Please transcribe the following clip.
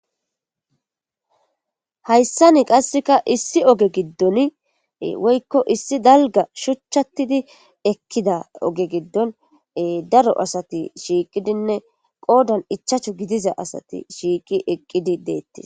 hayssani qasseka issi oge giddon woykko issi dalga shuchchattidi ekkida oge giddon daro asati shiiqidinne qoodan ichacho gidiza asati shiiqi eqqidi deettii